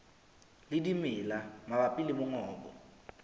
le dimela mabapi le mongobo